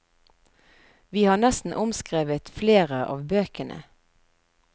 Vi har nesten omskrevet flere av bøkene.